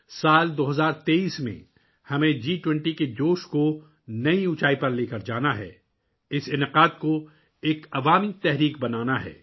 سال 2023 ء میں ہمیں جی 20 کے جوش کو ایک نئی بلندی پر لے جانا ہے، اس تقریب کو ایک عوامی تحریک بنانا ہے